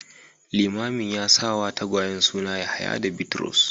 Limamin ya sa wa tagwayen suna Yahaya da Bitrus